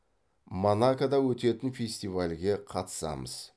монакода өтетін фестивальге қатысамыз